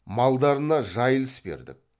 малдарына жайылыс бердік